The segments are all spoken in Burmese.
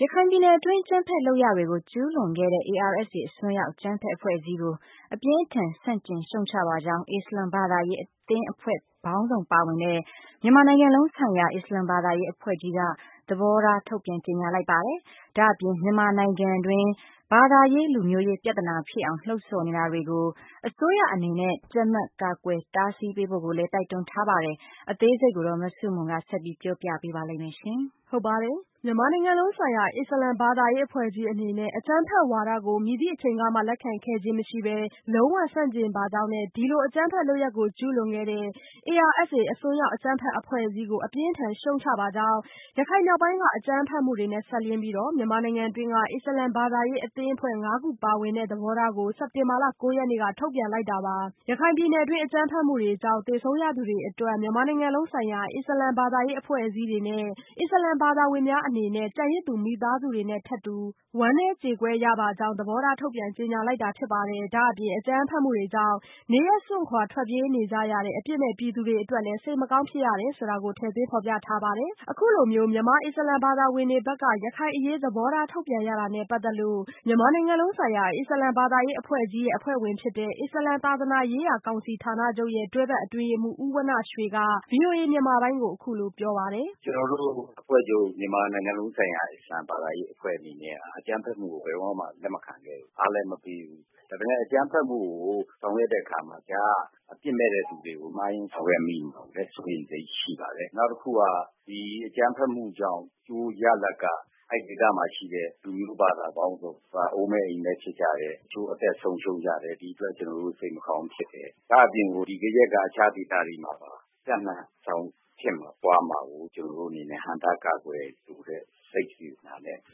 ရခိုင်ပြည်နယ်တွင်း အကြမ်းဖက်လုပ်ရပ်တွေကို ကျူးလွန်ခဲ့တဲ့ ARSA အစွန်းရောက်အကြမ်းဖက်အဖွဲ့အစည်းကို အပြင်းအထန် ဆန့်ကျင်ရှုတ်ချပါကြောင်း အစ္စလာမ်ဘာသာရေးအသင်းအဖွဲ့ပေါင်းစုံပါဝင်တဲ့ မြန်မာနိုင်ငံလုံးဆိုင်ရာ အစ္စလာမ်ဘာသာရေးအဖွဲ့ကြီးက သဘောထားထုတ်ပြန်ကြေညာလိုက်ပါတယ်။ ဒါ့အပြင် မြန်မာနိုင်ငံတွင်း ဘာသာရေး၊ လူမျိုးရေးပြသနာဖြစ်အောင် လှု့ံ့ဆော်နေတာတွေကို အစိုးရအနေနဲ့ကြပ်မတ်ကာကွယ်တားဆီးပေးဖို့ကိုလည်း တိုက်တွန်းထားပါတယ်။ အသေးစိတ် မဆုမွန် ဆက်ပြောပြပါမယ်။ မြန်မာနိုင်ငံလုံးဆိုင်ရာ အစ္စလာမ်ဘာသာရေးအဖွဲ့ကြီးအနေနဲ့ အကြမ်းဖက်ဝါဒကို မည်သည့်အချိန်ကမှလက်ခံခဲ့ခြင်းမရှိပဲ လုံးဝဆန့်ကျင်ပါကြောင်းနဲ့ ဒီအကြမ်းဖက်လုပ်ရပ်တွေကို ကျူးလွန်ခဲ့တဲ့ ARSA အစွန်းရောက်အကြမ်းဖက် အဖွဲ့အစည်းကို အပြင်းအထန် ရှုတ်ချပါကြောင်း ရခိုင်မြောက်ပိုင်းက အကြမ်းဖက်မှုတွေနဲ့စပ်လျဉ်းပြီး မြန်မာနိုင်ငံတွင်းက အစ္စလာမ်ဘာသာရေး အသင်းအဖွဲ့ ငါးခုပါဝင်တဲ့ သဘောထားကို စက်တင်ဘာလ ၉ရက်နေ့က ထုတ်ပြန်လိုက်တာပါ။ ရခိုင်ပြည်နယ်တွင်း အကြမ်းဖက်မှုတွေကြောင့် သေဆုံးရသူတွေအတွက် မြန်မာနိုင်ငံလုံးဆိုင်ရာ အစ္စလာမ်ဘာသာရေးအဖွဲ့အစည်းတွေနဲ့ အစ္စလာမ်ဘာသာဝင်များအနေနဲ့ ကျန်ရစ်သူ မိသားစုတွေနဲ့ထပ်တူ ဝမ်းနည်းကြေကွဲရပါကြောင်း သဘောထားထုတ်ပြန်ကြေညာလိုက်တာဖြစ်ပါတယ်။ ဒါ့အပြင် အကြမ်းဖက်မှုတွေကြောင့် နေရပ်စွန့်ခွာထွက်ပြေးနေရတဲ့ အပြစ်မဲ့ပြည်သူတွေအတွက်လည်း စိတ်မကောင်းဖြစ်ရပါကြောင်း ထည့်သွင်းဖော်ပြထားပါတယ်။ အခုလိုမြန်မာအစ္စလာမ်ဘာသာဝင်တွေဘက်က ရခိုင်အရေးသဘောထား ထုတ်ပြန်ရတာနဲ့ ပတ်သက်လို့ မြန်မာနိုင်ငံလုံးဆိုင်ရာ အစ္စလာမ်ဘာသာရေးအဖွဲ့ကြီးရဲ့ အဖွဲ့ဝင်ဖြစ်တဲ့ အစ္စလာမ် သာသနာရေးရာကောင်စီဌာနချုပ်ရဲ့ တွဲဖက်အတွင်းရေးမှူး ဦးဝဏ္ဏရွှေက ဗွီအိုအေမြန်မာပိုင်း ကိုအခုလိုပြောပါတယ်။ “ကျနော်တို့အဖွဲ့ချုပ် မြန်မာနိုင်ငံလုံးဆိုင်ရာ အစ္စလာမ်ဘာသာရေးအဖွဲ့ကြီးအနေနဲ့က အကြမ်းဖက်မှုကို ဘယ်တော့မှ လက်မခံခဲ့ဘူး။ အားလည်းမပေးဘူး ။ ဒါပေမယ့် အကြမ်းဖက်မှုကို ဆောင်ရွက်တဲ့အခါမှာ ကြားကအပြစ်မဲ့တဲ့လူတွေကို မှားပြီးဆောင်ရွက်မိမှာကိုလည်း စိုးရိမ်စိတ်ရှိပါတယ်။ နောက်တခုက ဒီအကြမ်းဖက်မှုကြောင့် အကျိုးရလဒ်က အဲဒီဒေသမှာရှိတဲ့ လူမျိုးဘာသာပေါင်းစုံ အိုးမဲ့အိမ်မဲ့ဖြစ်ကြတယ်၊ တချို့အသက်ဆုံးရှုံးကြတယ်၊ ဒီအတွက် ကျနေ်ာစိတ်မကောင်းဖြစ်တယ်။ ဒါ့အပြင်ကို ဒီဖြစ်ရပ်ကြောင့် အခြားဒေသတွေမှာပါ ပြန့်နှံ့သွားမှာကို ကျနော်တို့အနေနဲ့ ဟန့်တားကာကွယ်လိုတဲ့ စိတ်စေတနာနဲ့ ကျနော်တို့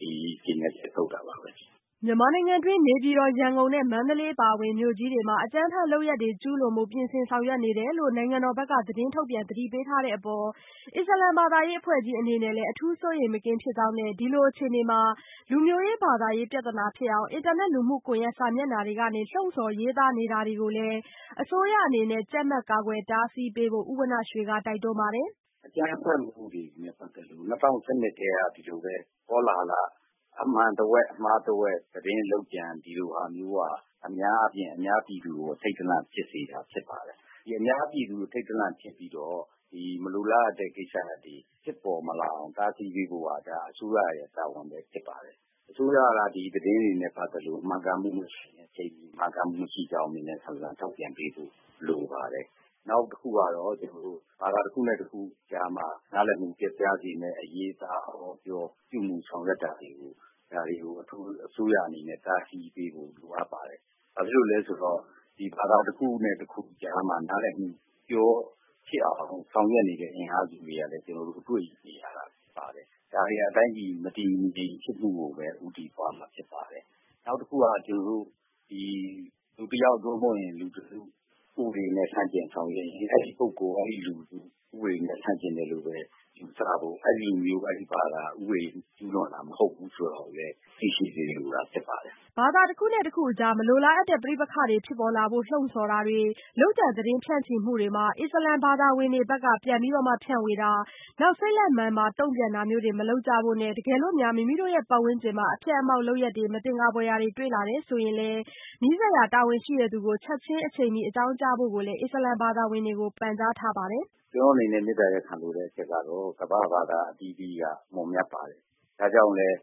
ဒီကြေညာချက်ထုတ်တာပါပဲ။” မြန်မာနိုင်ငံတွင်း နေပြည်တော်၊ ရန်ကုန်နဲ့ မန္တလေးအပါအဝင် မြို့ကြီးတွေမှာ အကြမ်းဖက်လုပ်ရပ်တွေ ကျူးလွန်ဖို့ ပြင်ဆင်ဆောင်ရွက်နေတယ်လို့ နိုင်ငံတော်ဘက်က သတင်းထုတ်ပြန်သတိပေးထားတဲ့အပေါ် အစ္စလာမ်ဘာသာရေးအဖွဲ့ကြီးအနေနဲ့ အထူးစိုးရိမ်မကင်းဖြစ်ကြောင်းနဲ့ ဒီလိုအခြေအနေမှာ လူမျိုးရေး၊ ဘာသာရေး ပြသနာဖြစ်အောင် အင်တာနက်၊ လူမှုကွန်ရက် စာမျက်နှာတွေကနေ လှုံ့ဆော်ရေးသားနေတာတွေကိုလည်း အစိုးရအနေနဲ့ ကြပ်မတ် ကာကွယ်တားဆီးပေးဖို့ ဦးဝဏ္ဏရွှေက တိုက်တွန်းထားပါတယ်။ “အကြမ်းဖက်မှုတွေနဲ့ ပတ်သက်လို့ ၂၀၁၂ ကတည်းက ဒီလိုပဲ ကောလဟာလ အမှန်တဝက်၊ အမှားတဝက် သတင်းလုပ်ကြံဒီလိုဟာမျိုးက အများအားဖြင့် အများပြည်သူကို အထိတ်တလန့်ဖြစ်စေတာဖြစ်ပါတယ်။ အများပြည်သူ အထိတ်တလန့်ဖြစ်ပြီးတော့ ဒီမလိုလား အပ်တဲ့ ကိစ္စရပ်တွေ ဖြစ်ပေါ်မလာအောင်တားဆီးပေးဖို့က ဒါအစိုးရရဲ့ တာဝန်ပဲဖြစ်ပါတယ်။ အစိုးရက ဒီသတင်းတွေနဲ့ ပတ်သက်လို့ မှန်ကန်မှုမရှိကြောင်း မြန်မြန်ဆန်ဆန်ထုတ်ပြန်ပေးဖို့လိုပါတယ်။ နောက်တခုကတော့ ကျနော်တို့ ဘာသာတခုနဲ့ တခုကြားမှာ နားလည်မှု ပျက်ပြားစေမယ့်အရေးအသား အဟောအပြော အပြုအမူဆောင်ရွက်တာတွေကို အစိုးရအနေနဲ့ အထူးဆောင်ရွက်တားဆီးပေးဖို့လိုအပ်ပါတယ်။ ဘာဖြစ်လို့လဲဆိုတော့ ဒီဘာသာတခုနဲ့ တခုကြားမှာ နားလည်မှုလွဲအောင်ဆောင်ရွက်နေတဲ့ အင်အားစုတွေလည်း ကျနော်တို့ တွေ့မြင်နေရတာဖြစ်ပါတယ်။ ဒါတွေက တိုင်းပြည်မတည်မငြိမ်ဖြစ်မှုကိုပဲ ဦးတည်သွားမှာဖြစ်ပါတယ်။ နောက်တခုက လူတယောက် (သို့မဟုတ်) လူတစု ဥပဒေနဲ့ ဆန့်ကျင်ဆောင်ရွက်ရင် အဲဒီ ပုဂ္ဂိုလ် အဲဒီလူစု ဥပဒေနဲ့ ဆန့်ကျင်တယ်လို့ပဲ ယူဆဖို့ ၊ အဲဒီလူမျိုး အဲဒီဘာသာ က ဥပဒေကျူးလွန်တာမဟုတ်ဘူးဆိုတာကို သိရှိစေလိုတာဖြစ်ပါတယ်။” ဘာသာတခုနဲ့တခုအကြား မလိုလားအပ်တဲ့ ပဋိပက္ခတွေ ဖြစ်ပေါ်လာဖို့ လှုံ့ဆော်မှု ၊ လုပ်ကြံသတင်းဖြန့်ချီမှုတွေမှာ အစ္စလာမ်ဘာသာဝင်တွေ အနေနဲ့လည်း ဖြန့်ဝေတာ၊ စိတ်လက်မာန်ပါတုန့်ပြန်တာမပြုလုပ်ကြဖို့နဲ့ တကယ်လို့ မိမိပတ်ဝန်းကျင်မှာ အဖျက်အမှောင့်လုပ်ရပ်တွေ မသင်္ကာရာဖွယ်ရာ တွေ့ရှိရင်လည်း နီးစပ်ရာ တာဝန်ရှိသူကို ချက်ခြင်းအချိန်မီအကြောင်းကြားဖို့ကိုလည်း အစ္စလာမ်ဘာသာဝင်တွေကို ဦးဝဏ္ဏရွှေက ပန်ကြားထားပါတယ်။ “ကျနော်တို့အနေနဲ့ မေတ္တာရပ်ခံလိုတဲ့အချက်ကတော့ ကမ္ဘာ့ဘာသာအသီးသီးက မွန်မြတ်ပါတယ်။ ဒါကြောင့်လည်း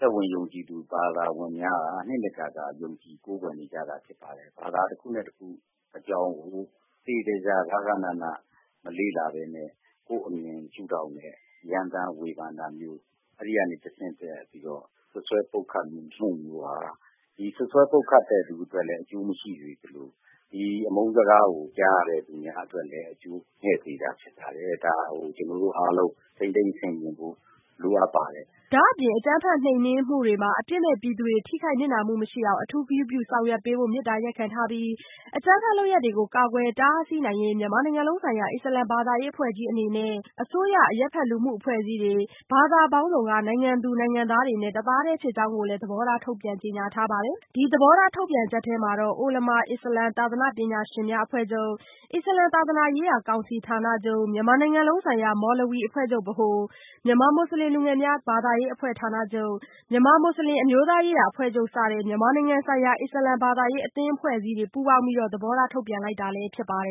သက်ဝင်ယုံကြည်သူ ဘာသာဝင်များက နှစ်နှစ်ကာကာ ယုံကြည်ကိုးကွယ်နေကြတာဖြစ်ပါတယ်။ဘာသာတခုနဲ့ တခုအကြောင်းကို သေသေချာချာ ဂဃနဏ မလေ့လာပဲနဲ့ ကိုယ့်အမြင်ရှု့ထောင့်နဲ့ ရမ်းပြီးဝေဖန်တာမျိုး အဲဒီကနေတဆင့်ပြီးတော စွပ်စွဲပုတ်ခတ်တာတွေဟာ ဒီ စွပ်စွဲပုတ်ခတ်တဲ့သူအတွက်လည်း အကျိုးမရှိသလို ဒီအမုန်းစကားကို ကြားရတဲ့သူတွေအတွက်လည်း အကျိုးမဲ့စေတာဖြစ်ပါတယ်။ ဒါကို ကျနော်တို့အားလုံး ထိန်းသိမ်းဆင်ခြင်ဖို့ လိုအပ်ပါတယ်။” ဒါ့အပြင် အကြမ်းဖက်နှိမ်နှင်းမှုတွေမှာ အပြစ်မဲ့ပြည်သူတွေ ထိခိုက်နစ်နာမှုမရှိအောင် အထူးဂရုပြုဆောင်ရွက်ပေးဖို့ မေတ္တာရပ်ခံထားပြီး အကြမ်းဖက်လုပ်ရပ်တွေကို ကာကွယ်တားဆီးနိုင်ရေး မြန်မာနိုင်ငံလုံးဆိုင်ရာ အစ္စလာမ်ဘာသာရေးအဖွဲ့ကြီးအနေနဲ့ အစိုးရ၊ အရပ်ဖက်လူမှုအဖွဲ့အစည်းတွေ၊ ဘာသာပေါင်းစုံနိုင်ငံသူ၊ နိုင်ငံသားတွေနဲ့ တသားတည်းဖြစ်ကြောင်းကိုလည်း သဘောထား ထုတ်ပြန်ကြေညာထားတာပါ။ ဒီသဘောထားထုတ်ပြန်ချက်ထဲမှာ အိုလမာ-အစ္စလာမ်သာသနာ့ပညာရှင်များအဖွဲ့ချုပ်၊ အစ္စလာမ်သာသနာရေးရာကောင်စီဌာနချုပ်၊ မြန်မာနိုင်ငံလုံးဆိုင်ရာ မော်လဝီအဖွဲ့ချုပ်(ဗဟို)၊ မြန်မာမွတ်စလင်လူငယ်များ ဘာသာရေးအဖွဲ့ ဌာနချုပ်၊ မြန်မာမွတ်စလင် အမျိုးသားရေးရာအဖွဲ့ချုပ်စတဲ့ မြန်မာနိုင်ငံဆိုင်ရာ အစ္စလာမ်ဘာသာရေးအသင်းအဖွဲ့အစည်းတွေပါ ပူးပေါင်းပါဝင်ပြီး သဘောထားထုတ်ပြန်ထားကြတာဖြစ်ပါတယ်